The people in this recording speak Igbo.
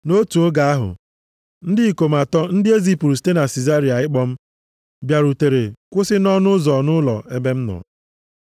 “Nʼotu oge ahụ, ndị ikom atọ ndị e zipụrụ site Sizaria ịkpọ m bịarutere kwụsị nʼọnụ ụzọ nʼụlọ ebe m nọ.